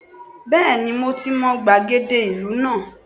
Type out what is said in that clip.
Bẹ́ẹ̀ni mo ti mọ gbàgede ìlú náà